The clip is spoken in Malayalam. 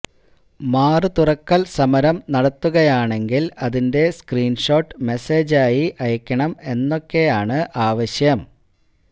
മാറ് തുറക്കല് സമരം നടത്തുകയാണെങ്കില് അതിന്റെ സ്ക്രീന്ഷോട്ട് മേസേജ് ആയി അയക്കണം എന്നൊക്കെ ആണ് ആവശ്യം